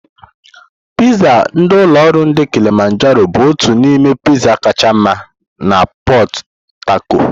Piizzá ndi ulo oru ndi Kilimajaro bụ otu n'ime Piizzá kacha mma na Pot-tacotu.